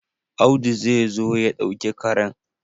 Audu zai zo ya ɗauki karen.